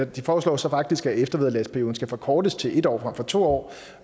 de foreslår så faktisk at eftervederlagsperioden skal forkortes til en år frem for to år